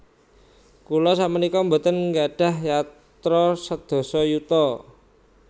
Kula sakmenika mboten nggadhah yatra sedasa yuta